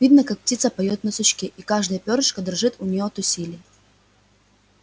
видно как птица поёт на сучке и каждое пёрышко дрожит у неё от усилия